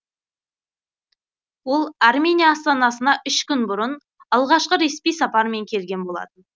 ол армения астанасына үш күн бұрын алғашқы ресми сапармен келген болатын